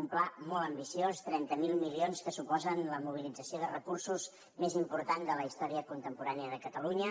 un pla molt ambiciós trenta miler milions que suposen la mobilització de recursos més important de la història contemporània de catalunya